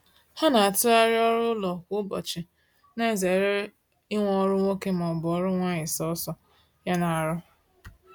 Ha na-atughari ọrụ ụlọ kwa ụbọchị, na ezere inwe ọrụ nwoke ma ọ bụ nwanyi sọsọ ya na arụ